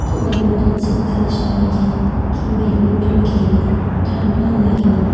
Badminton শীতকালে সবাই খেলে ।কি ব্যাডমিন্টন খেললে ঠান্ডা লাগে না ।